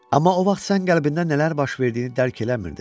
Amma o vaxt sən qəlbində nələr baş verdiyini dərk eləmirdin.